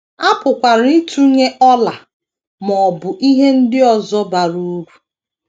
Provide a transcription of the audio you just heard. A pụkwara ịtụnye ọla ma ọ bụ ihe ndị ọzọ bara uru.